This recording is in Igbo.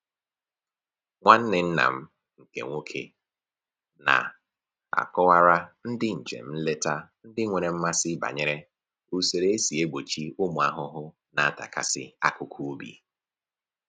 Nwanne nna m nke nwoke na-akọwara ndị njem nleta ndị nwere mmasị banyere usoro e si egbochi ụmụ ahụhụ na-atakasị akụkụ ubi